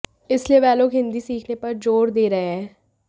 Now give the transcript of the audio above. इसलिए वह लोग हिंदी सीखने पर जोर दे रहे हैं